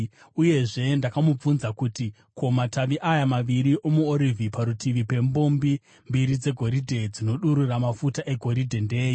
Uyezve ndakamubvunza kuti, “Ko, matavi aya maviri omuorivhi parutivi pembombi mbiri dzegoridhe dzinodurura mafuta egoridhe ndeei?”